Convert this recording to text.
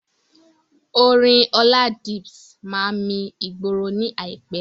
Orin Oladips máa mi ìgboro ní àìpé.